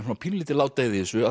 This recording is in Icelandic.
svona pínulítil ládeyða í þessu